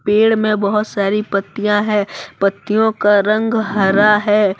पेड़ में बहुत सारी पत्तियां है पत्तियों का रंग हरा है।